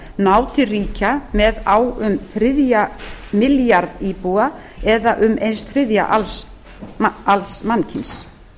ná til ríkja með á um þriðja milljarða íbúa eða um einn þriðji alls mannkyns